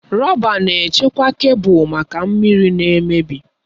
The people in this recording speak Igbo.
Rọba na-echekwa kebụl maka mmiri na mmebi.